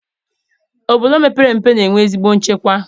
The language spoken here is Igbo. Obodo mepere emepe na-enwe ezigbo nchekwa